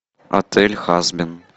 отель хазбин